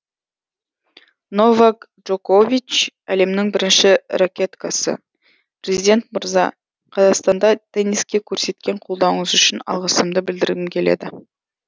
новак джокович әлемнің бірінші ракеткасы президент мырза қазақстанда тенниске көрсеткен қолдауыңыз үшін алғысымды білдіргім келеді